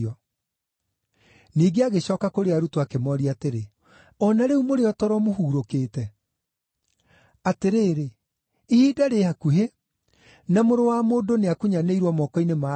Ningĩ agĩcooka kũrĩ arutwo akĩmooria atĩrĩ, “O na rĩu mũrĩ o toro mũhurũkĩte? Atĩrĩrĩ, ihinda rĩ hakuhĩ, na Mũrũ wa Mũndũ nĩakunyanĩirwo moko-inĩ ma andũ ehia.